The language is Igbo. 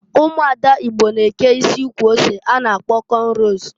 Umuada Igbo na-eke isi ukwu ose a na-agkpọ kọnros.